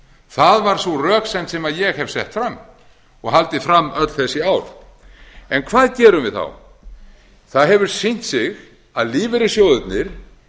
það var sú röksemd sem ég hef sett fram og haldið fram öll þessi ár en hvað gerum við þá það hefur sýnt sig að lífeyrissjóðirnir